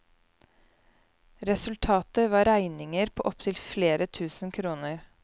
Resultatet var regninger på opptil flere tusen kroner.